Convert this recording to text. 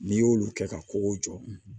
N'i y'olu kɛ ka kogo jɔ